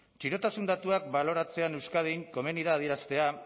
txirotasun datuak baloratzean euskadin komeni da adieraztea